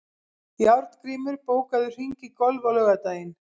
Járngrímur, bókaðu hring í golf á laugardaginn.